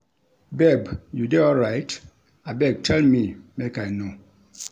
Babe, you dey alright? abeg tell me make I know.